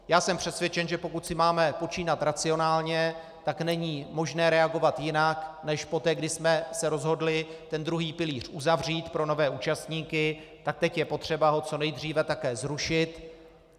Já jsem přesvědčen, že pokud si máme počínat racionálně, tak není možné reagovat jinak než poté, kdy jsme se rozhodli ten druhý pilíř uzavřít pro nové účastníky, tak teď je potřeba ho co nejdříve také zrušit.